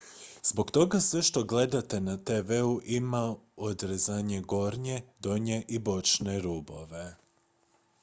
zbog toga sve što gledate na tv-u ima odrezane gornje donje i bočne rubove